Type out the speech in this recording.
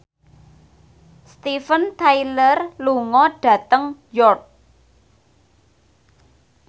Steven Tyler lunga dhateng York